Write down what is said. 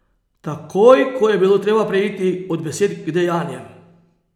Takoj ko je bilo treba preiti od besed k dejanjem.